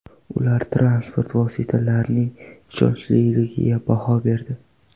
Ular transport vositalarining ishonchliligiga baho berdi.